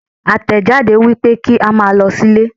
Àtẹ̀jáde wípé kí a máa lọ sí ilé.